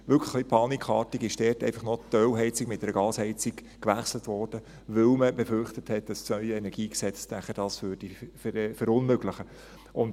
Dort wurde wirklich ein wenig panikartig einfach noch die Ölheizung durch eine Gasheizung ersetzt, weil man befürchtet hat, dass das neue KEnG das nachher verunmöglichen würde.